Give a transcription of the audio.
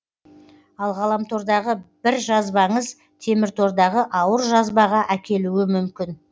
ал ғаламтордағы бір жазбаңыз теміртордағы ауыр жазбаға әкелуі мүмкін